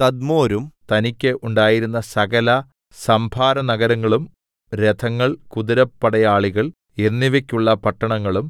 തദ്മോരും തനിക്ക് ഉണ്ടായിരുന്ന സകല സംഭാരനഗരങ്ങളും രഥങ്ങൾ കുതിരപ്പടയാളികൾ എന്നിവക്കുള്ള പട്ടണങ്ങളും